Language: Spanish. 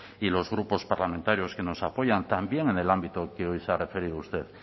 y los grupos parlamentarios que nos apoyan también en el ámbito que hoy se ha referido usted